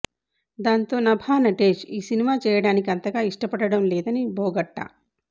దాంతో నభా నటేష్ ఆ సినిమా చేయడానికి అంతగా ఇష్టపడడం లేదని బోగట్టా